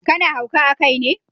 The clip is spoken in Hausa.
Ka na hauka a kai ne?